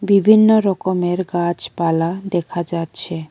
বিভিন্ন রকমের গাছপালা দেখা যাচ্ছে।